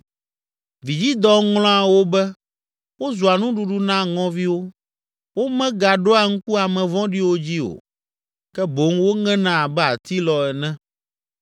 Vidzidɔ ŋlɔa wo be, wozua nuɖuɖu na ŋɔviwo, womegaɖoa ŋku ame vɔ̃ɖiwo dzi o, ke boŋ woŋena abe atilɔ ene.